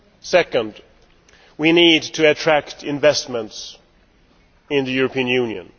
Secondly, we need to attract investment into the European Union.